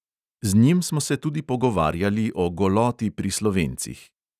Z njim smo se tudi pogovarjali o goloti pri slovencih.